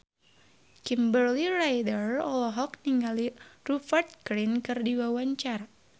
Kimberly Ryder olohok ningali Rupert Grin keur diwawancara